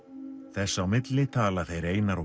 þess á milli tala þeir Einar og